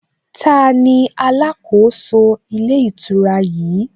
Taani alákòóso ilé ìtura yìí?